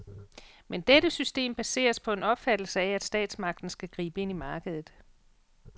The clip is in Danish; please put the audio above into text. Men dette system baseres på en opfattelse af, at statsmagten skal gribe ind i markedet.